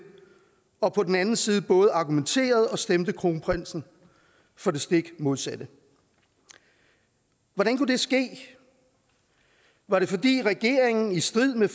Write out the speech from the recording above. og på den anden side både argumenterede og stemte kronprinsen for det stik modsatte hvordan kunne det ske var det fordi regeringen i strid med